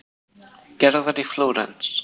Gerðar í Flórens.